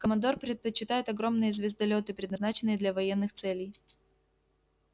командор предпочитает огромные звездолёты предназначенные для военных целей